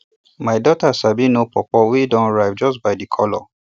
my daughter sabi know pawpaw wey don ripe just by di colour